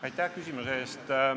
Aitäh küsimuse eest!